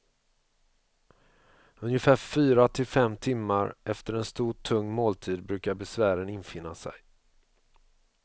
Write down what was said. Ungefär fyra till fem timmar efter en stor tung måltid brukar besvären infinna sig.